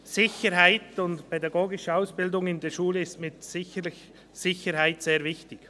Sicherheit und pädagogische Ausbildung in der Schule ist mit Sicherheit sehr wichtig.